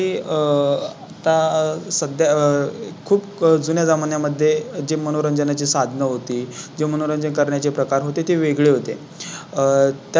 आता आह सध्या आह खूप जुन्या जमान्या मध्ये जे मनोरंजनाची साधनं होती जे मनोरंजन करण्याचे प्रकार होते. ते वेगळे होते आहे. आह